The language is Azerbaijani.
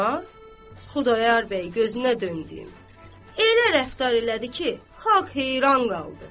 Amma Xudayar bəy gözünə döndüyüm elə rəftar elədi ki, xalq heyran qaldı.